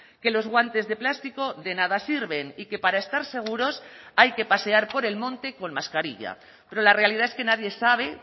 que los guantes de plástico de nada sirven y que para estar seguros hay que pasear por el monte con mascarilla pero la realidad es que nadie sabe